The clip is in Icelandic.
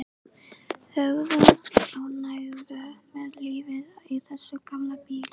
Hugrún: Ánægður með lífið í þessum gamla bíl?